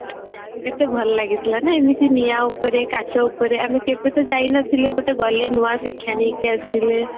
କେତେ ଭଲ ଲାଗିଥିଲା ନାଇଁ ଏମିତି ନିଆଁ ଉପରେ କାଚ ଉପରେ ଆମେ କେବେ ତ ଯାଇନଥିଲେ ଗୋଟେ ଗଲେ ନୂଆ ଶିକ୍ଷା ନେଇକି ଆସିଲେ